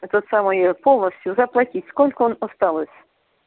это самое полностью заплатить сколько он осталось